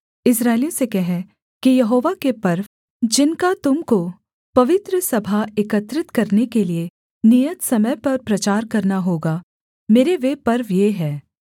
इस्राएलियों से कह कि यहोवा के पर्व जिनका तुम को पवित्र सभा एकत्रित करने के लिये नियत समय पर प्रचार करना होगा मेरे वे पर्व ये हैं